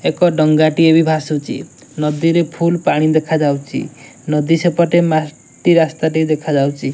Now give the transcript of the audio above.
ଏକ ଡଙ୍ଗାଟିଏ ବି ଏ ଭାସୁଚି ନଦୀରେ ଫୁଲ ପାଣି ଦେଖାଯାଉଚି ନଦୀ ସେପଟେ ମାଟି ରାସ୍ତାଟି ଦେଖାଯାଉଚି।